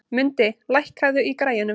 Mundi, lækkaðu í græjunum.